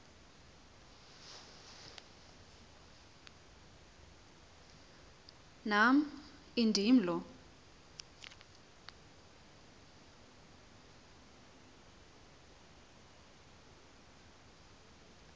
nam indim lo